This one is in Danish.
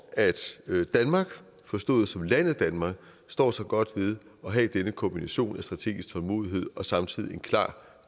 at danmark forstået som landet danmark står sig godt ved at have denne kombination af strategisk tålmodighed og samtidig en klar